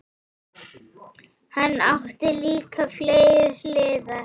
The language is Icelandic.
Hann átti líka fleiri hliðar.